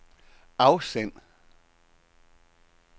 afsend